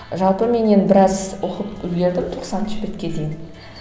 жалпы мен енді біраз оқып үлгердім тоқсаныншы бетке дейін